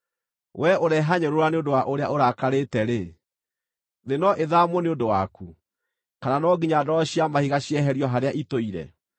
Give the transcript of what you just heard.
Wee ũrehanyũrũra nĩ ũndũ wa ũrĩa ũrakarĩte-rĩ, thĩ no ĩthaamwo nĩ ũndũ waku? Kana no nginya ndwaro cia mahiga cieherio harĩa itũire?